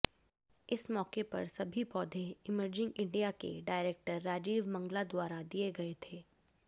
इस मौके पर सभी पौधे एमरजिंग इण्डिया के डाईरेक्टर राजीव मंगला द्वारा दिये गये थे